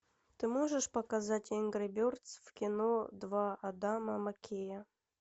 ты можешь показать энгри бердз в кино два адама маккея